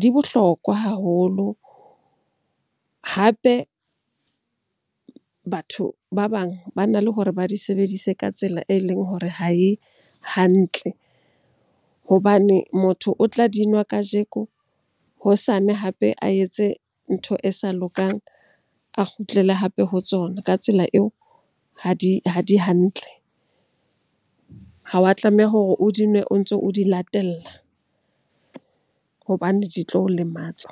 di bohlokwa haholo. Hape, batho ba bang bana le hore ba di sebedise ka tsela e leng hore ha e hantle hobane motho o tla di nwa kajeko, hosane hape a etse ntho e sa lokang, a kgutlele hape ho tsona. Ka tsela eo ha di hantle. Ha wa tlameha hore o di nwe o ntso o di latella hobane di tlo o lematsa.